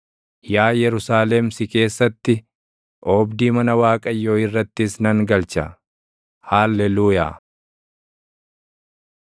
yaa Yerusaalem si keessatti, oobdii mana Waaqayyoo irrattis nan galcha. Haalleluuyaa.